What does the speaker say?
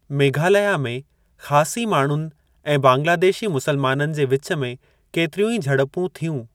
मेघालया में ख़ासी माण्हुनि ऐं बंगलादेशी मुसलमाननि जे विचु में केतिरियूं ई झड़पूं थियूं।